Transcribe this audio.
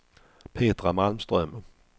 Petra Malmström